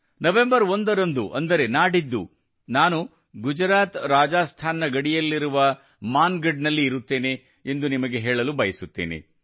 November 1 ರಂದು ಅಂದರೆ ನಾಡಿದ್ದು ನಾನು ಗುಜರಾತ್ರಾಜಸ್ತಾನ್ ನ ಗಡಿಯಲ್ಲಿರುವ ಮಾನ್ ಗಢ್ ನಲ್ಲಿರುತ್ತೇನೆ ಎಂದು ನಿಮಗೆ ಹೇಳಲು ಬಯಸುತ್ತೇನೆ